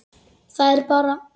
Það er bara.